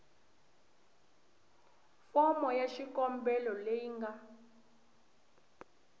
fomo ya xikombelo leyi nga